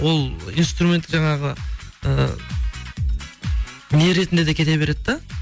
ол инструмент жаңағы ы не ретінде де кете береді да